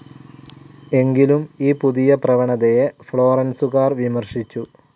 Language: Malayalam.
എങ്കിലും ഈ പുതിയ പ്രവണതയെ ഫ്ലോറന്സുകാർ വിമർശിച്ചു.